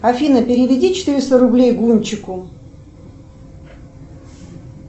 афина переведи четыреста рублей гунчику